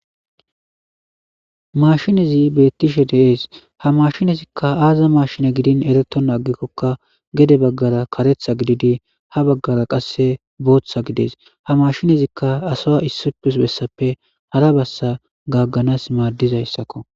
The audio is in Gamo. Mashinezi beettishe deees ha mashinezikka aaza mashine gidin ereto naagikkokka gede baggara karetha gididi ha baggara qasse booththa gides ha mashinezikka asoa issupus bessappe hara bassa gagganas maaddizayssakko